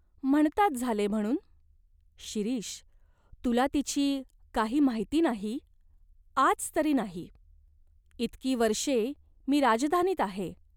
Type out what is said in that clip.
" "म्हणतात झाले म्हणून." "शिरीष, तुला तिची काही माहिती नाही ?" "आज तरी नाही. इतकी वर्षे मी राजधानीत आहे.